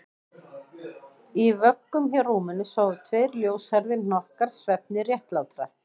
Í vöggum hjá rúminu sváfu tveir ljóshærðir hnokkar svefni réttlátra